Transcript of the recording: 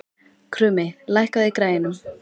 Krummi, lækkaðu í græjunum.